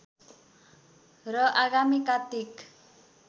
र आगामी कात्तिक